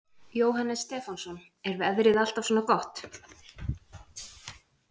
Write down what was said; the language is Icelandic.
Jóhannes Stefánsson: Er veðrið alltaf svona gott?